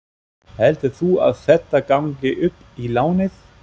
Heldur þú að þetta gangi upp í lánið?